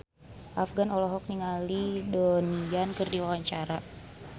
Afgan olohok ningali Donnie Yan keur diwawancara